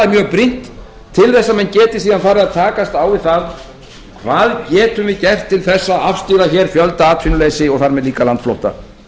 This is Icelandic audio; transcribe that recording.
mjög brýnt til að menn geti síðan farið að takast á við það hvað getum við gert til þess að afstýra fjöldaatvinnuleysi og þar með líka landflótta